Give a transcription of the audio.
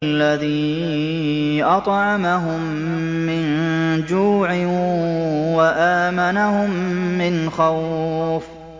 الَّذِي أَطْعَمَهُم مِّن جُوعٍ وَآمَنَهُم مِّنْ خَوْفٍ